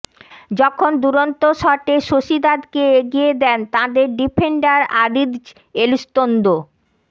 যখন দুরন্ত শটে সোসিদাদকে এগিয়ে দেন তাঁদের ডিফেন্ডার আরিৎজ় এলুস্তোন্দো